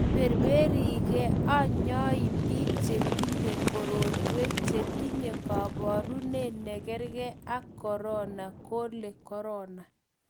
iberberi k anyoik biik che tinyei korotwek che tinyei kaborune ne kerkei ak korona kole korona